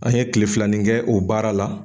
An ye kilefilanin kɛ o baara la